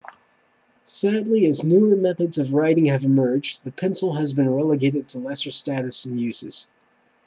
sadly as newer methods of writing have emerged the pencil has been relegated to lesser status and uses